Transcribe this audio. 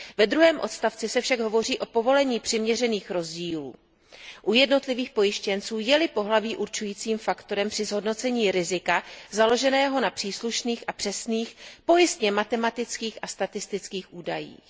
Ve druhém odstavci se však hovoří o povolení přiměřených rozdílů u jednotlivých pojištěnců, je li pohlaví určujícím faktorem při zhodnocení rizika založeného na příslušných a přesných pojistněmatematických a statistických údajích.